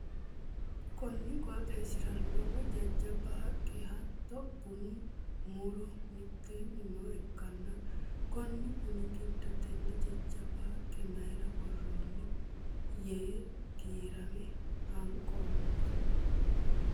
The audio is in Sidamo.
Konni qooxeesira lowo jajaba haqe hatto bunnu muro miteenni nooha ikanna konni bunni gido tenne jajaba haqe mayira woroonni yee giirame hanqoomo.